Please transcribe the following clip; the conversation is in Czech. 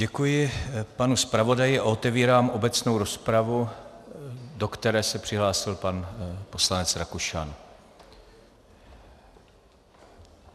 Děkuji panu zpravodaji a otevírám obecnou rozpravu, do které se přihlásil pan poslanec Rakušan.